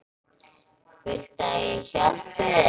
Viltu að ég hjálpi þér?